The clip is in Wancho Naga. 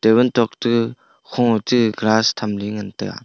table te kho che grass thamley ngan taiga.